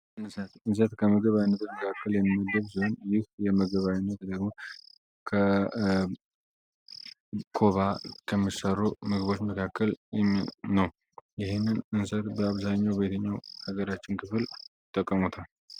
እንሰት የምግብ አይነቶች መካከል አንዱ ሲሆን ከኮባ ከሚሰሩ ምግቦች መካከል አንደኛው ነው እንግዲህ ይህንን የምግብ ዓይነት በአብዛኛው ማህበረሰቦች ይጠቀሙታል።